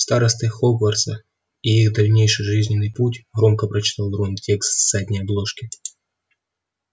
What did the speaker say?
старосты хогвартса и их дальнейший жизненный путь громко прочитал рон текст с задней обложки